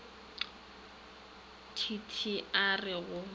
t t a re go